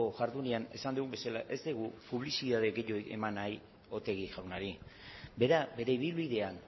jardunean esan dugun bezala ez dugu publizitate gehiago eman nahi otegi jaunari bera bere ibilbidean